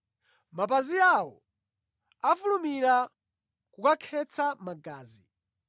“Mapazi awo afulumira kukakhetsa magazi.